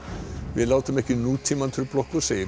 við látum ekki nútímann trufla okkur segir